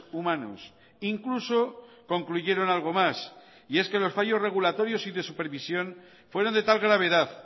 humanos incluso concluyeron algo más y es que los fallos regulatorios y de supervisión fueron de tal gravedad